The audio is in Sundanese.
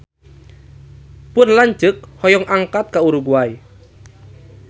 Pun lanceuk hoyong angkat ka Uruguay